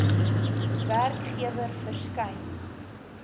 werkgewer verskyn